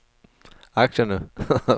aktierne